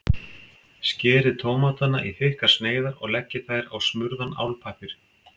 Skerið tómatana í þykkar sneiðar og leggið þær á smurðan álpappír.